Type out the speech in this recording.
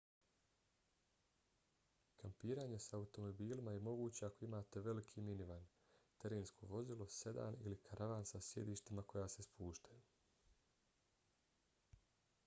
kampiranje sa automobilima je moguće ako imate veliki minivan terensko vozilo sedan ili karavan sa sjedištima koja se spuštaju